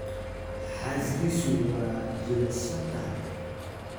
Xaaskiisu waa jilicsan tahay